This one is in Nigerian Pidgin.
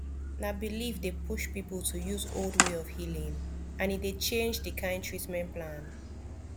na belief dey push people to use old way of healing and e dey change the kind treatment plan